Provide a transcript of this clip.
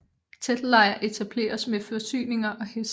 Teltlejr etableres med forsyninger og heste